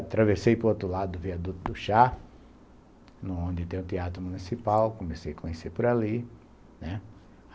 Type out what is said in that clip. Atravessei para o outro lado, via a Duta do Chá, onde tem o Teatro Municipal, comecei a conhecer por ali.